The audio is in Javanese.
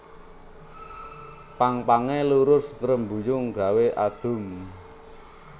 Pang pangé lurus ngrembuyung gawé adhum